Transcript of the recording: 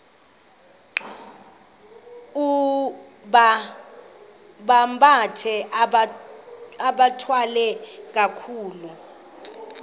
bambathe bathwale kakuhle